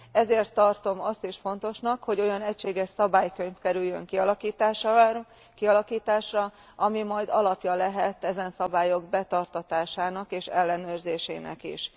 Ezért tartom azt is fontosnak, hogy olyan egységes szabálykönyv kerüljön kialakításra, ami majd alapja lehet ezen szabályok betartatásának és ellenőrzésének is.